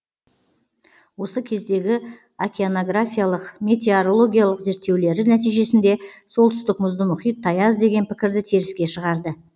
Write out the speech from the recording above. осы кездегі океанографиялық метеорологиялық зерттеулері нәтижесінде солтүстік мұзды мұхит таяз деген пікірді теріске шығарды